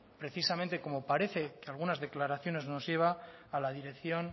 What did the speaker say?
precisamente como parece algunas declaraciones nos lleva a la dirección